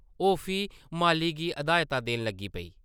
ओह् फ्ही माली गी हदायतां देन लगी पेई।